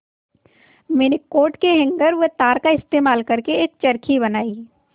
मैंने कोट के हैंगर व तार का इस्तेमाल करके एक चरखी बनाई